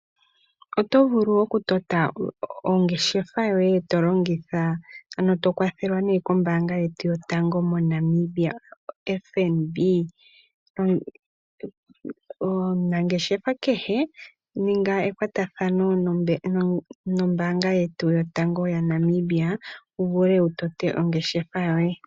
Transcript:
Otovulu okutoka ongeshefa yoye tolongitha ano tokwathela kombaanga yetu yotango moNamibia koFNB. Omunangeshefa kehe ninga ekwatathano noombaanga yetu yotango yaNamibia wu vule wu tote ongeshefa yoye.